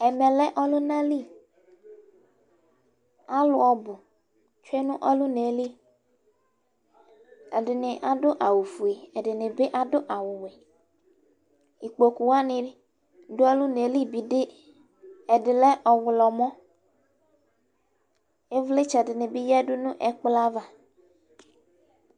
Ɛmɛ lɛ ɔlʋna li, ɛdɩnɩ adʋ awʋ fue, ɛdɩnɩ adʋ awʋ wɛ; ikpoku wanɩ dʋ ɔlʋna yɛ li bɩ ɛdɩ lɛ ɔɣlɔmɔIvlɩtsɛ dɩnɩ bɩ yǝdu nʋ ɛkplɔ ava